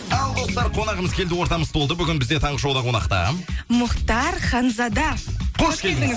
ал достар қонағымыз келді ортамыз толды бүгін бізде таңғы шоуда қонақта мұхтар ханзада қош келдіңіз